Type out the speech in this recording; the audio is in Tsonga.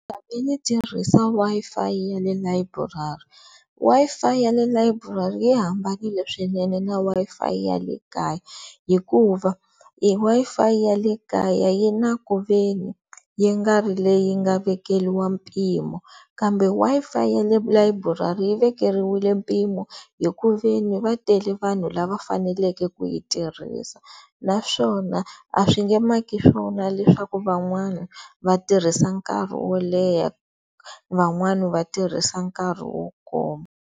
Ndzi tshame ni tirhisa Wi-Fi ya le layiburari, Wi-Fi ya le layiburari yi hambanile swinene na Wi-Fi ya le kaya hikuva Wi-Fi ya le kaya yi na ku ve ni yi nga ri leyi nga vekeliwa mpimo kambe Wi-Fi ya le layiburari vekeriwile mpimo hi ku ve ni va tele vanhu lava faneleke ku yi tirhisa naswona a swi nge maki swona leswaku van'wana va tirhisa nkarhi wo leha, van'wani va tirhisa nkarhi wo koma.